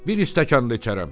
Bir stəkan da içərəm."